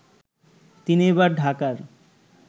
তিনি এবার ঢাকার